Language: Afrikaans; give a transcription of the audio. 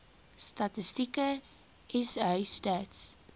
statistieke sa stats